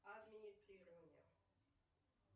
администрирование